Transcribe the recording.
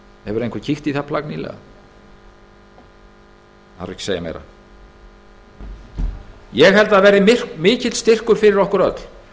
hefur einhver kíkt í það plagg nýlega það þarf ekki að segja meira ég held að það verði mikill styrkur fyrir okkur öll